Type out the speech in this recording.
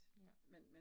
Ja